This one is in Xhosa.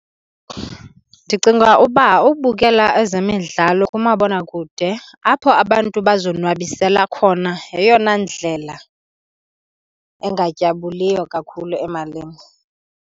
Ndicinga uba ubukela ezemidlalo kumabonakude apho abantu bazonwabisela khona yeyona ndlela engatyabuliyo kakhulu emalini.